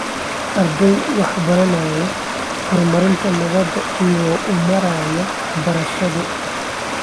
Ardayda waxay baranayaan horumarinta nabadda iyagoo u maraya waxbarasho.